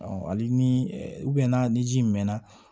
hali ni ni ji mɛnna